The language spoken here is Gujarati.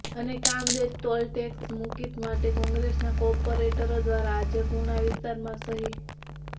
અને કામરેજ ટોલટેકસ મુકિત માટે કોગ્રેસના કોર્પોરેટરો દ્વારા આજે પુણા વિસ્તારમાં સહી